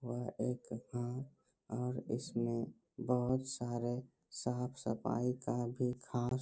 वह एक हां और इसमें ब‍हुत सारे साफ-सफाई का भी खास --